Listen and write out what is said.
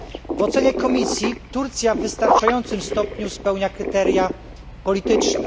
W ocenie Komisji Turcja w wystarczającym stopniu spełnia kryteria polityczne.